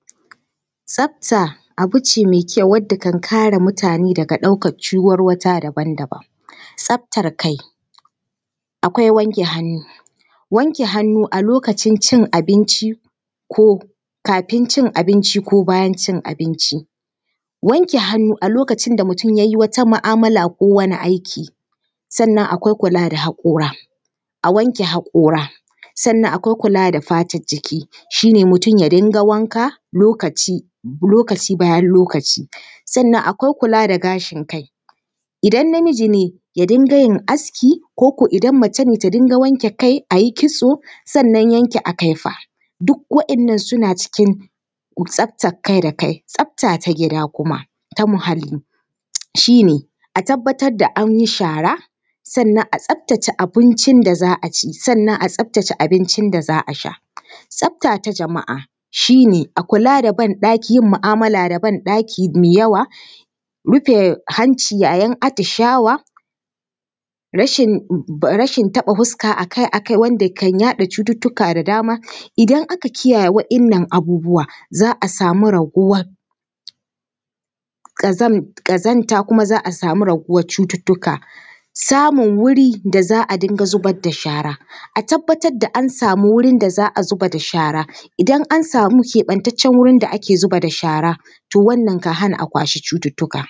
Tsafta abu ce mai kyau wadda kan kare mutane daga ɗaukar ciwarwata daban daban. Tsaftar kai, kwai wanke hannu, wanke hannu a lokacin cin abinci ko kafin cin abinci ko bayan cin abinci. Wanke hannu a lokacin da mutum ya yi wata mu’amala ko wani aiki. Sannan akwai kula da haƙora, a wanke haƙora. Sannan akwai kula da fatar jiki, shi ne mutum ya dinga wanka lokaci, lokaci bayan lokaci. Sannan akwai kula da gashin kai, idan namiji ne ya dinga yin aski, ko ko idan macen da dinga wanke kai, a yi kitso. Sannan yanke akaifa, duk waɗannan suna cikin tsaftar kai da kai. Tsafta ta gida kuma, ta muhalli, shi ne a tabbatar da an yi shara, sannan a tsaftace abin da za a ci, sannan a tsaftace abincin da za a sha. Tsafta ta jama’a shi ne, a kula da ban-ɗaki, yin mu’amala da ban-ɗaki mai yawa, rufe hanci yayin atishawa, rashin taɓa fuska a kai a kai wanda kan yaɗa cututtuka da dama. Idan aka kiyaye waɗannan abubuwa, za a samu raguwar ƙazanta kuma za a samu raguwar cututtuka. Samun wuri da za a dinga zubar da shara, a tabbatar da an samu wurin da za a dinga zubar da shara, idan an samu wurin da ake zubar da shara, to wannan ka hana a kwashi cututtuka.